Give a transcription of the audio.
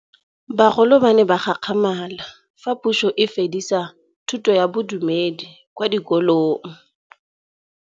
Bagolo ba ne ba gakgamala fa Pusô e fedisa thutô ya Bodumedi kwa dikolong.